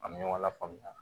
An bɛ ɲɔgɔn lafaamuya